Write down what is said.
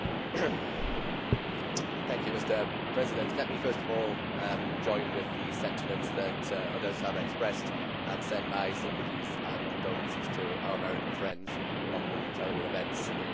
Mr President, let me first of all join with the sentiments that others have expressed and send my sympathies and condolences to our American friends on the terrible events in Boston yesterday.